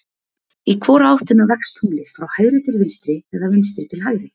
Í hvora áttina vex tunglið, frá hægri til vinstri eða vinstri til hægri?